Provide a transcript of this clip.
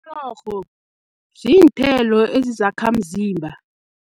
Mrorho ziinthelo ezizakhamzimba.